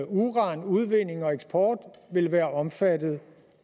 uranudvinding og eksport vil være omfattet